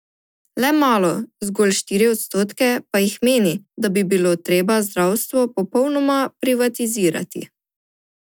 Le malo, zgolj štiri odstotke pa jih meni, da bi bilo treba zdravstvo popolnoma privatizirati.